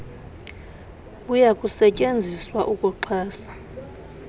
buya kusetyenziswa ukuxhasa